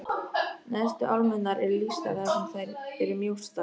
Neðstu álmurnar eru lýstar þar sem þær eru mjóstar.